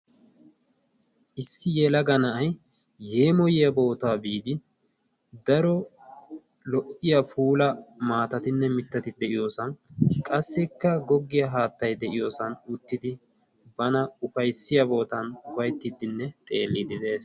issi yelaga na'ay yeemoyiyaa bootaa biidi daro lo"iya puula maatatinne mittati de'iyoosan qassikka goggiyaa haattai de'iyoosan uttidi bana ufayssiya bootan ufayttiddinne xeelliidi de'es.